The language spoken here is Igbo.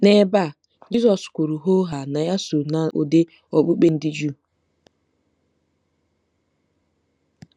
N'ebe a, Jizọs kwuru hoo haa na ya so n'ụdị okpukpe ndị Juu.